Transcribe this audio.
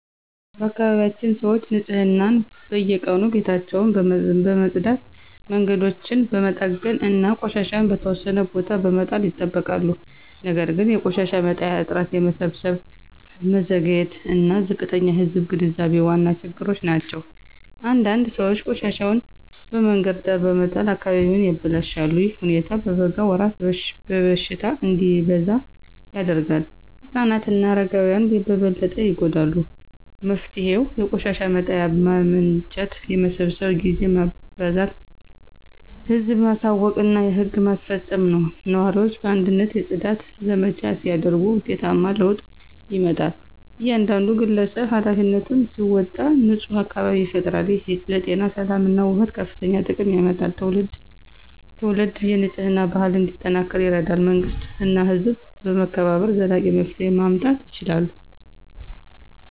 በአካባቢያችን ሰዎች ንፅህናን በየቀኑ ቤታቸውን በመጽዳት መንገዶችን በመጠገን እና ቆሻሻ በተወሰነ ቦታ በመጣል ይጠብቃሉ። ነገር ግን የቆሻሻ መጣያ እጥረት የመሰብሰብ መዘግየት እና ዝቅተኛ የህዝብ ግንዛቤ ዋና ችግሮች ናቸው። አንዳንድ ሰዎች ቆሻሻቸውን በመንገድ ዳር በመጣል አካባቢውን ያበላሻሉ። ይህ ሁኔታ በበጋ ወራት በሽታ እንዲበዛ ያደርጋል ህፃናት እና አረጋውያን በበለጠ ይጎዳሉ። መፍትሄው የቆሻሻ መጣያ ማመንጨት የመሰብሰብ ጊዜ ማበዛት ህዝብን ማሳወቅ እና ህግ ማስፈጸም ነው። ነዋሪዎች በአንድነት የጽዳት ዘመቻ ሲያደርጉ ውጤታማ ለውጥ ይመጣል። እያንዳንዱ ግለሰብ ኃላፊነቱን ሲወጣ ንፁህ አካባቢ ይፈጠራል። ይህ ለጤና ሰላም እና ውበት ከፍተኛ ጥቅም ያመጣል ትውልድ ትውልድ የንፅህና ባህል እንዲጠናከር ይረዳል። መንግሥት እና ህዝብ በመተባበር ዘላቂ መፍትሄ ማምጣት ይችላሉ።